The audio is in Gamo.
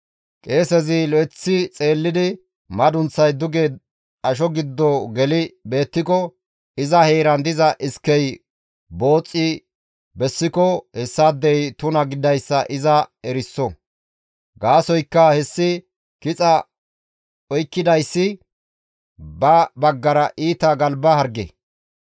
Qeesezi lo7eththi xeellidi madunththay duge asho giddo geli beettiko iza heeran diza iskey booxxi bessiko hessaadey tuna gididayssa iza eriso; gaasoykka hessi kixa oykkidayssi ba baggara iita galba harge.